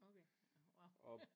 Okay wow